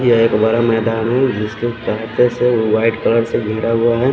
यह एक बड़ा मैदान है जिसके से वाइट कलर से गेड़ा हुआ है।